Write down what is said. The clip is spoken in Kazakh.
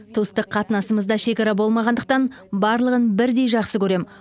туыстық қатынасымызда шекара болмағандықтан барлығын бірдей жақсы көрем